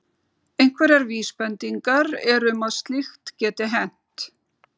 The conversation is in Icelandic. Einhverjar vísbendingar eru um að slíkt geti hent.